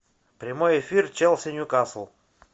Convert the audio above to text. прямой эфир челси ньюкасл